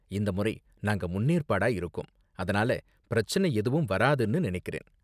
இந்த முறை நாங்க முன்னேற்பாடா இருக்கோம் அதனால பிரச்சனை எதுவும் வராதுனு நினைக்கிறேன்.